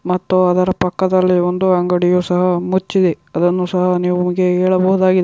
ಮತ್ತು ಅದರ ಪಕ್ಕದಲ್ಲಿ ಒಂದು ಅಂಗಡಿಯು ಸಹ ಮುಚ್ಚಿದೆ. ಅದನ್ನು ಸಹ ನಿಮಗೆ ಹೇಳಬಹುದಾಗಿ --